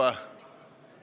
Istung on lõppenud.